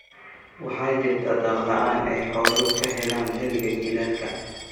Waxaa jirta daaq la’aan ay xooluhu ka helaan xilliga jiilaalka.